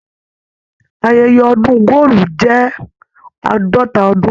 Ayẹyẹ ọdun góòlù jẹ àádọta ọdún.